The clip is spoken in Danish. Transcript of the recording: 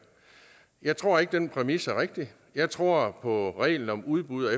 jeg tror ikke den præmis er rigtig jeg tror på reglen om udbud